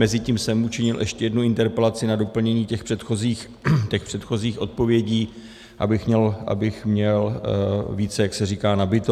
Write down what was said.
Mezitím jsem učinil ještě jednu interpelaci na doplnění těch předchozích odpovědí, abych měl více, jak se říká, nabito.